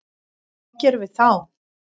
Hvað gerum við þá?